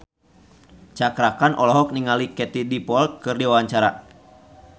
Cakra Khan olohok ningali Katie Dippold keur diwawancara